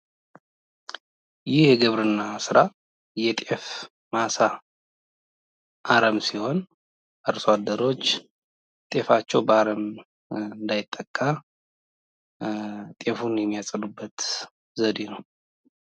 ይህ የግብርና ስራ የጤፍ ማሳ አረም ሲሆን አርሶአደሮች ጤፍአቸው በአረም እንዳይጠቃ ጤፉን የሚያፀዱበት ዘዴ ነው ።